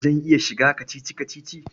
Zan iya shiga kacici-kacici.